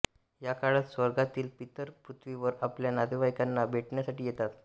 या काळात स्वर्गातील पितर पृथ्वीवर आपल्या नातेवाईकांना भेटण्यासाठी येतात